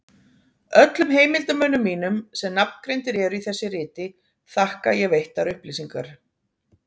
Öllum heimildarmönnum mínum, sem nafngreindir eru í þessu riti, þakka ég veittar upplýsingar.